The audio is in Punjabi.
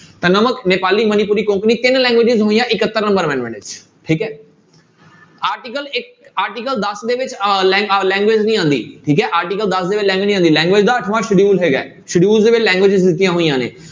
ਤਾਂ ਨਮਕ ਨੇਪਾਲੀ, ਮਨੀਪੁਰੀ, ਕੋਕਣੀ ਤਿੰਨ languages ਹੋਈਆਂ ਇਕੱਤਰ number amendment ਵਿੱਚ ਠੀਕ ਹੈ article ਇੱਕ article ਦਸ ਦੇ ਵਿੱਚ ਅਹ ਲ~ ਅਹ language ਨੀ ਆਉਂਦੀ ਠੀਕ ਹੈ article ਦਸ ਵਿੱਚ language ਨੀ ਆਉਂਦੀ language ਦਾ ਅੱਠਵਾਂ schedule ਹੈਗਾ ਹੈ schedule ਦੇ ਵਿੱਚ languages ਦਿੱਤੀਆਂ ਹੋਈਆਂ ਨੇ।